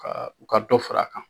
Ka u ka dɔ fara a kan.